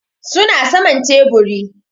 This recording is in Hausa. Su na saman teburi.